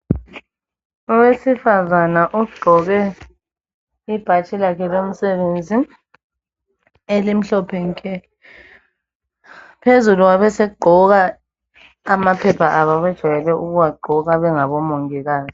Owesifazana ogqoke ibhatshi lakhe lomsebenzi elimhlophe nke phezulu wabese gqoka amaphepha abo abajwayele ukuwagqoka bengabomongikazi.